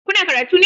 Kuna karatu ne?